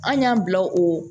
An y'an bila o